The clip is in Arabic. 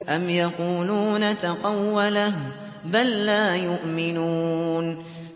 أَمْ يَقُولُونَ تَقَوَّلَهُ ۚ بَل لَّا يُؤْمِنُونَ